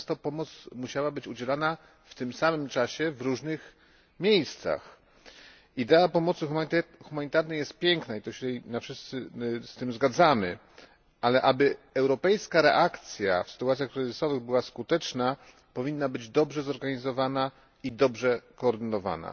Często pomoc musiała być udzielana w tym samym czasie w różnych miejscach. Idea pomocy humanitarnej jest piękna, i wszyscy się z tym zgadzamy, lecz aby europejska reakcja w sytuacjach kryzysowych była skuteczna, powinna być dobrze zorganizowana i dobrze koordynowana.